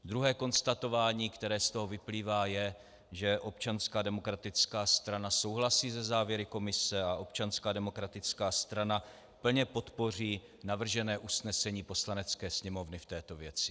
Druhé konstatování, které z toho vyplývá, je, že Občanská demokratická strana souhlasí se závěry komise a Občanská demokratická strana plně podpoří navržené usnesení Poslanecké sněmovny v této věci.